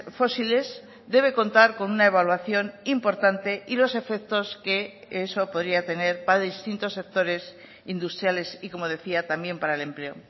fósiles debe contar con una evaluación importante y los efectos que eso podría tener para distintos sectores industriales y como decía también para el empleo